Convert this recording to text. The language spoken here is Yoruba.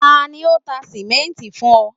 tani o ta simenti fun ọ?